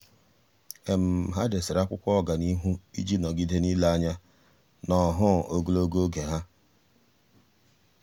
há dèsere ákwụ́kwọ́ ọ́gànihu iji nọ́gídé n’ílé anya n’ọ́hụ́ụ ogologo oge ha.